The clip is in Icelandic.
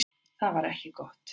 Það var ekki gott.